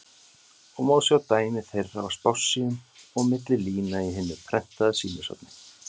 og má sjá dæmi þeirra á spássíum og milli lína í hinu prentaða sýnishorni.